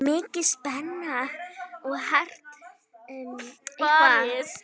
Mikil spenna og hart barist.